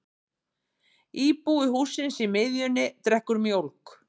Íbúi hússins í miðjunni drekkur mjólk.